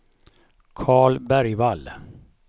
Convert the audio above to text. Karl Bergvall